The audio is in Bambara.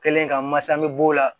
Kelen ka masa bɛ b'o la